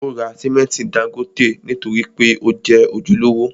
Ó ra simẹnti dángótè nítorí pé ó jẹ́ ojúlówó.